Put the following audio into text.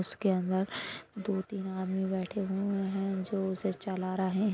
उसके अंदर दो तीन आदमी बैठे हुए है जो उसे चला रहे है।